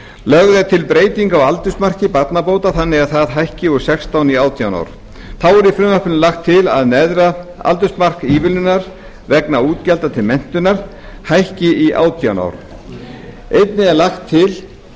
lögð er til breyting á aldursmarki barnabóta þannig að það hækki úr sextán í átján ár þá er í frumvarpinu lagt til að neðra aldursmark ívilnunar vegna útgjalda til menntunar hækki í átján ár einnig er lagt til